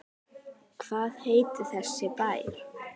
Hvað heitir þessi bær?